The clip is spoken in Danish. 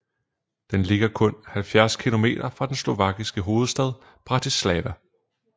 Den ligger kun 70 kilometer fra den slovakiske hovedstad Bratislava